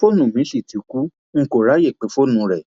fóònù mi sì ti kú n kò ráàyè pé fóònù rẹ